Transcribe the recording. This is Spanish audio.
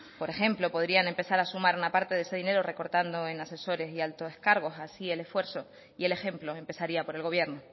por ejemplo podrían empezar a sumar una parte de este dinero recortando en asesores y altos cargos así el esfuerzo y el ejemplo empezaría por el gobierno